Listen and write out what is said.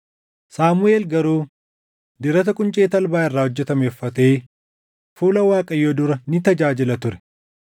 Saamuʼeel garuu dirata quncee talbaa irraa hojjetame uffatee fuula Waaqayyoo dura ni tajaajila ture.